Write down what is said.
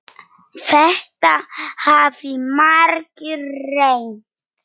Þetta hafa margir reynt.